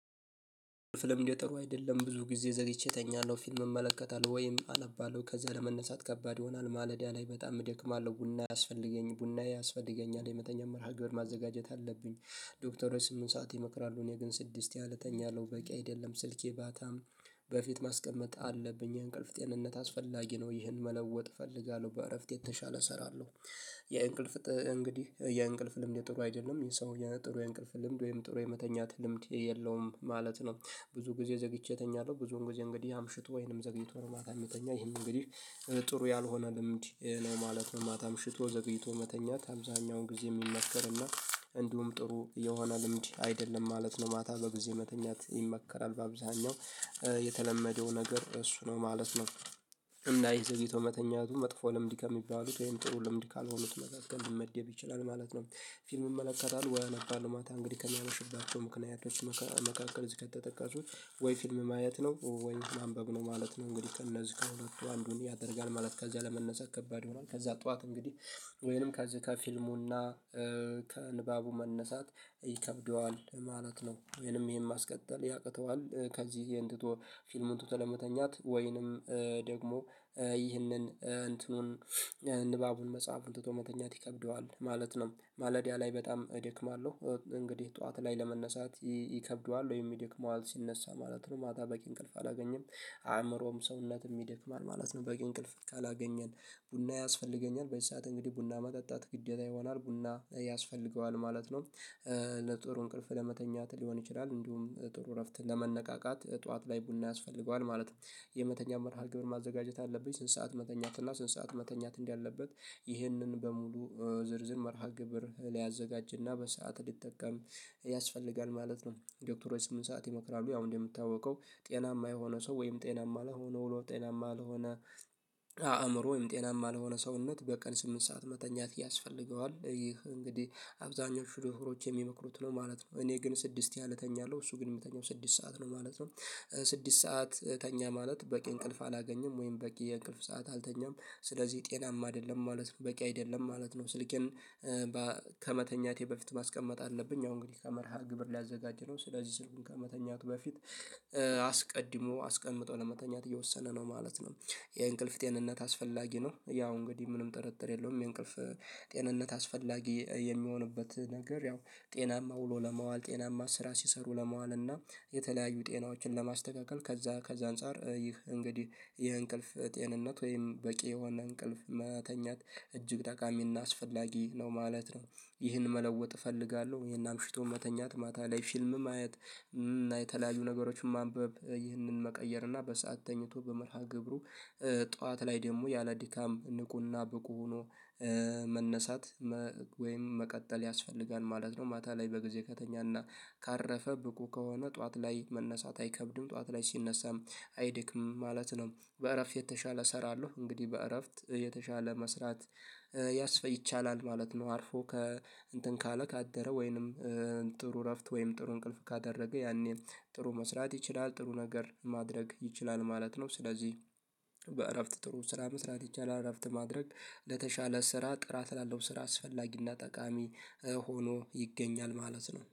ፊልም እንዲያጠሩ አይደለም ብዙ ጊዜ ዘግቼ እተኛለሁ ፊልም እመለከታለሁ ወይም አነባለሁ ከዛ ለመነሳት ከባድ ይሆናል ማለዳ ላይ በጣም ደክማለሁ ቡና ያስፈልገኛል ቡና ያስፈልገኛል የመተኛት መርሃ ግብር ማዘጋጀት አለብኝ። ዶክተሮች ስምንት ሰዓት ይመክራሉ እኔ ግን ስድስት ያህል እተኛለሁ በቂ አይደለም። ስልኬ ማታም በፊት ማስቀመጥ አለብኝ እንቅልፍ ጤንነት አስፈላጊ ነው። ይህን መለወጥ እፈልጋለሁ በእረፍት የተሻለ እሰራለሁ። የእንቅልፍ እንግዲህ የእንቅልፍ ልምድ ጥሩ አይደለም ሰውዬ ጥሩ የእንቅልፍ ልምድ ወይም ጥሩ የመተኛት ልምድ የለውም ማለት ነው። ብዙ ጊዜ ዘግይቼ እተኛለሁ። ብዙውን ጊዜ እንግዲህ አምሽቶ ወይንም ዘግይቶ ነው ማታ የሚተኛው ይሄን እንግዲህ ጥሩ ያልሆነ ልምድ ነው ማለት ነው። ማታ አምሽቶ ዘግይቶ መተኛት አብዛኛውን ጊዜ የሚመከር እና እንዲሁም ጥሩ የሆነ ልምድ አይደለም ማለት ነው። ማታ በጊዜ መተኛት ይመከራል በአብዛኛው የተለመደው ነገር እሱ ነው ማለት ነው። እና ዘግይቶ መተኛቱ መጥፎ ልምድ ከሚባሉት ወይም ጥሩ ልምድ ካልሆኑት መጽሐፍ ግን ሊመደብ ይችላል ማለት ነው። ፊልም እመለከታለሁ ወይ አነባለሁ ማታ እንግዲህ ከማመሽባቸው ምክንያቶች መካከል እዚህ ከተጠቀሱት ወይ ፊልም ማየት ነው ወይ ማንበብ ነው ማለት ነው። እንግዲህ እነዚህ ከሁለቱ አንዱን ያደርጋል ማለት ከዚያ ለመነሳት ከባድ ይሆናል። ከዛ ጠዋት እንግዲህ ወይንም ከዚህ ከፊልሙና ከንባቡ መነሳት ይከብደዋል ማለት ነው። ወይንም ይሄን ማስቀጠል ያቅተዋል ከዚህ ይህን ትቶ ፊልሙን ትቶ ለመተኛት ወይንም ደግሞ ይህንን እንትኑን ንባቡን መጽሐፉን ትቶ መተኛት ይከብደዋል ማለት ነው። ማለዳ ላይ በጣም እደክማለው እንግዲህ ጠዋት ላይ ለመነሳት ይከብደዋል ወይ ይደክመዋል ሲነሳ ማለት ነው። ማታ በቂ እንቅልፍ አላገኘም አእምሮም ሰውነትም ይደክማል ማለት ነው። በቂ እንቅልፍ ካላገኘን ቡና ያስፈልገኛል በዚህ ሰዓት እንግዲህ ቡና መጠጣት ግዴታ ይሆናል ቡና ያስፈልገዋል ማለት ነው። ለጥሩ እንቅልፍ ለመተኛት ሊሆን ይችላል እንዲሁም ጥሩ እረፍት ለመነቃቃት ጠዋት ላይ ቡና ያስፈልገዋል ማለት ነው። የመተኛት መርሃ ግብር ማዘጋጀት አለብኝ ስንት ሰዓት መተኛት እና ስንት ሰዓት መተኛት እንዳለበት ይህንን በሙሉ ዝርዝር መርሃ ግብር ሊያዘጋጅና በሰአት እንዲጠቀም ያስፈልጋል ማለት ነው። ዶክተሮች ስምንት ሰዓት ይመክራሉ ያው እንደሚታወቀው ጤናማ የሆነ ሰው ወይም ጤናማ ለሆነ ውሎ ጤናማ ለሆነ አእምሮ ወይም ጤናማ ለሆነ ሰውነት በቀን ስምንት ሰዓት መተኛት ያስፈልገዋል ይህ እንግዲህ አብዛኞቹ ዶክሮች የሚመክሩት ነው ማለት ነው። እኔ ግን ስድስት ያህል እተኛለሁ እሱ ግን የሚተኛው ስድስት ሰዓት ነው ማለት ነው። ስድስት ሰዓት ተኛ ማለት በቂ እንቅልፍ አላገኘም ወይም በቂ የእንቅልፍ ሰዓት አልተኛም ስለዚህ ጤናማ አይደለም ማለት በቂ አይደለም ማለት ነው። ስልኬን ከመተኛቴ በፊት ማስቀመጥ አለብኝ አሁን እንግዲህ ከመርሃ ግብር ሊያዘጋጅ ነው ስለዚህ ስልኩን ከመተኛቱ በፊት አስቀድሞ አስቀምጠው ለመተኛት እየወሰነ ነው ማለት ነው። የእንቅልፍ ጤንነት አስፈላጊ ነው ያው እንግዲህ ምንም ጥርጥር የለውም። የእንቅልፍ ጤንነት አስፈላጊ የሚሆንበት ነገር ያው ጤናማ ውሎ ለመዋል ጤናማ ስራ ሲሰሩ ለመዋል እና የተለያዩ ጤናዎችን ለማስተካከል ከዛ ከዛ አንፃር ይህ እንግዲህ ይህ እንቅልፍ ጤንነት ወይም በቂ የሆነ እንቅልፍ መተኛት እጅግ ጠቃሚና አስፈላጊ ነው ማለት ነው። ይህን መለወጥ እፈልጋለሁ ይሄን አምሽቶ መተኛት ማታ ላይ ፊልም ማየት እና የተለያዩ ነገሮችን ማንበብ ይህንን መቀየር እና በሰአት ተኝቶ በመርሃ ግብሩ ጠዋት ላይ ደግሞ ያለድካም ንቁና ብቁ ሆኖ መነሳት ወይም መቀጠል ያስፈልጋል ማለት ነው። ማታ ላይ በጊዜ ከተኛና ካረፈ ብቁ ከሆነ ጠዋት ላይ መነሳት አይከብድም ጠዋት ላይ ሲነሳም አይደክም ማለት ነው። በእረፍት የተሻለ እሰራለሁ እንግዲህ በእረፍት የተሻለ መስራት ያስፈ ይቻላል ማለት ነው። አርፎ ከእንትን ካለ ካደረ ወይንም ጥሩ እረፍት ወይም ጥሩ እንቅልፍ ካደረገ ያኔ ጥሩ መስራት ይችላል ጥሩ ነገር ማድረግ ይችላል ማለት ነው። ስለዚህ በእረፍት ጥሩ ስራ መስራት ይቻላል እረፍት ማድረግ ለተሻለ ስራ ጥራት ላለው ስራ አስፈላጊና ጠቃሚ ሆኖ ይገኛል ማለት ነው